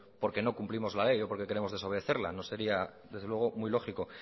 porque no cumplimos la ley o porque queremos desobedecerla no sería desde luego muy lógico